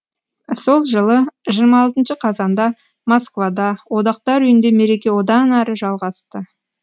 сол жылы жиырма алтыншы қазанда москвада одақтар үйінде мереке одан әрі жалғасты